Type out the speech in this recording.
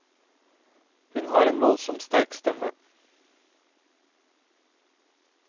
Hun har en voldsomt sterk stemme.